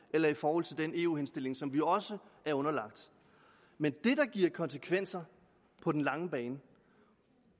eller i forhold til den eu henstilling som vi også er underlagt men det der giver konsekvenser på den lange bane